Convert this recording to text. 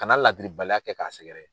Kana ladiribaliya kɛ k'a sɛgɛrɛ.